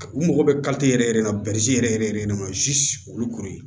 U mago bɛ yɛrɛ de la yɛrɛ yɛrɛ de kama olu ko ye